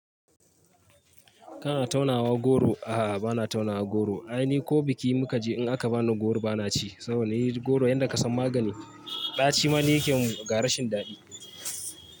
Kana taunawa goro? A'a, bana taunawa goro. Ai ni ko biki mu ka je in aka bani goro bana ci saboda ni goro yanda ka san magani ɗaci ma ni yake min ga ra shin dadi.